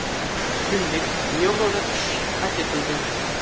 Shuningdek, yevroda tushish qayd etildi.